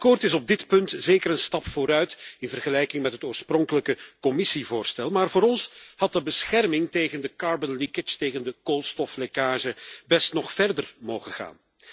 Het akkoord is op dit punt zeker een stap vooruit in vergelijking met het oorspronkelijke Commissievoorstel, maar voor ons had de bescherming tegen de koolstoflekkage best nog verder mogen gaan.